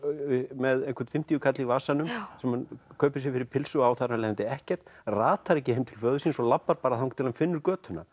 með fimmtíu kall í vasanum sem hann kaupir fyrir pylsu og á þar af leiðandi ekkert ratar ekki heim til föður síns og labbar þangað til hann finnur götuna